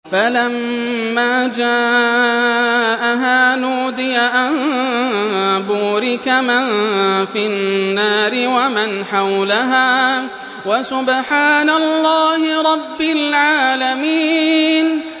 فَلَمَّا جَاءَهَا نُودِيَ أَن بُورِكَ مَن فِي النَّارِ وَمَنْ حَوْلَهَا وَسُبْحَانَ اللَّهِ رَبِّ الْعَالَمِينَ